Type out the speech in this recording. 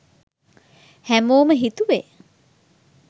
හැමෝම හිතුවේ